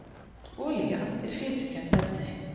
olía er fitukennt efni